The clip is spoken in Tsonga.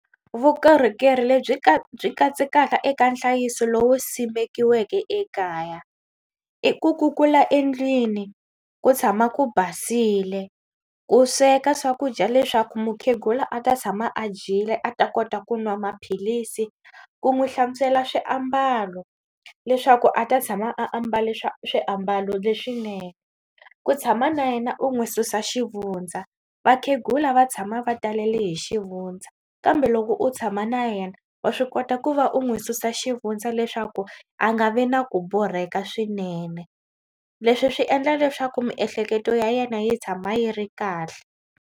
Vukorhokeri lebyi byi katsekaka eka nhlayiso lowu simekiweke ekaya i ku kukula endlwini ku tshama ku basile u sweka swakudya leswaku mukhegula a ta tshama a dyile a ta kota ku nwa maphilisi ku n'wi hlantswela swiambalo leswaku a ta tshama a ambale swa swiambalo leswinene ku tshama na yena u n'wi susa xivundza. Vakhegula va tshama va talele hi xivundza kambe loko u tshama na yena wa swi kota ku va u n'wi susa xivundza leswaku a nga vi na ku borheka swinene. Leswi swi endla leswaku miehleketo ya yena yi tshama yi ri kahle.